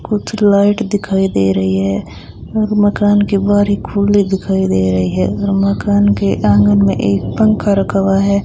कुछ लाइट दिखाई दे रही है और मकान के बाहर एक खुली दिखाई दे रही है और मकान के आंगन में एक पंखा रखा हुआ है।